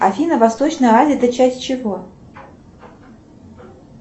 афина восточная азия это часть чего